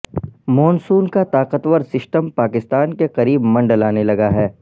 مون سون کا طاقتور سسٹم پاکستان کے قریب منڈلانے لگا ہے